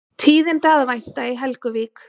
Tíðinda að vænta í Helguvík